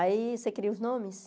Aí, você queria os nomes?